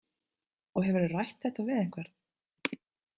Og hefurðu rætt þetta við einhvern?